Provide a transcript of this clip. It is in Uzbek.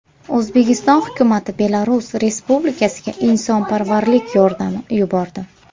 O‘zbekiston hukumati Belarus Respublikasiga insonparvarlik yordami yubordi.